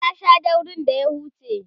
ta Sha daurin da ya huce